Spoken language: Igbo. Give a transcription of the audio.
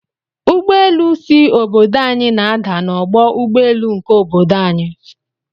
Ụgbọelu si obodo anyi na ada na ọgbọ ụgbọ elu nke obodo anyi.